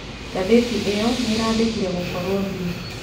Gatheti ĩo nĩirandĩkire gũkoro Bi